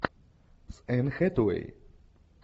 с энн хэтэуэй